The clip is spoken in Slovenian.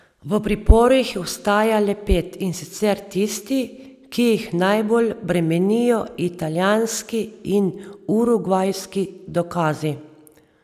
V priporu jih ostaja le pet, in sicer tisti, ki jih najbolj bremenijo italijanski in urugvajski dokazi.